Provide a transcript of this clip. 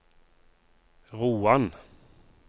Roan